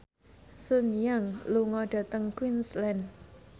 Sun Yang lunga dhateng Queensland